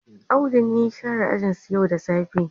Audu ne ya share ajinsu yau da safe.